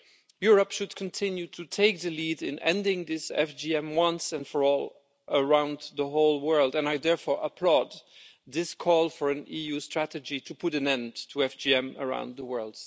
Europe should continue to take the lead in ending this FGM, once and for all, around the whole world, and I therefore applaud this call for an EU strategy to put an end to FGM around the world.